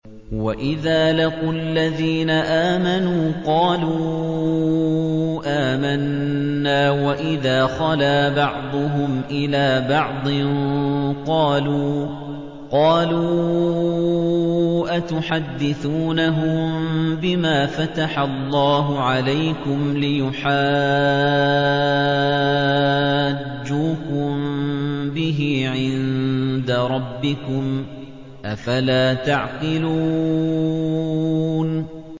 وَإِذَا لَقُوا الَّذِينَ آمَنُوا قَالُوا آمَنَّا وَإِذَا خَلَا بَعْضُهُمْ إِلَىٰ بَعْضٍ قَالُوا أَتُحَدِّثُونَهُم بِمَا فَتَحَ اللَّهُ عَلَيْكُمْ لِيُحَاجُّوكُم بِهِ عِندَ رَبِّكُمْ ۚ أَفَلَا تَعْقِلُونَ